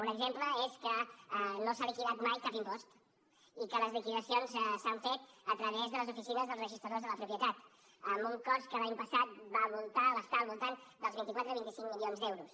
un exemple és que no s’ha liquidat mai cap impost i que les liquidacions s’han fet a través de les oficines dels registradors de la propietat amb un cost que l’any passat va estar al voltant dels vint quatre o vint cinc milions d’euros